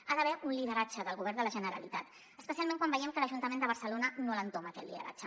hi ha d’haver un lideratge del govern de la generalitat espe·cialment quan veiem que l’ajuntament de barcelona no l’entoma aquest lideratge